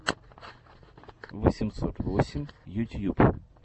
восемьсот восемь ютьюб